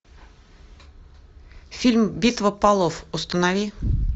фильм битва полов установи